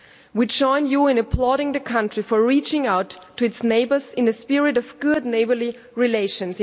We join you in applauding the country for reaching out to its neighbours in the spirit of good neighbourly relations.